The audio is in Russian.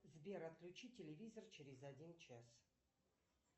сбер отключи телевизор через один час